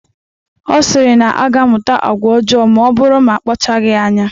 Ọ sịrị na ọ ga-amụta agwa ọjọọ maọbụrụ na akpachaghi anya.